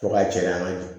Fo ka jɛ an ka